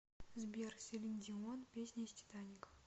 сбер селин дион песня из титаника